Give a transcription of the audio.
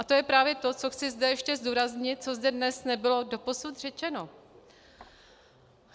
A to je právě to, co zde chci ještě zdůraznit, co zde dnes nebylo doposud řečeno.